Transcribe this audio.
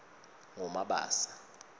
ngumabasa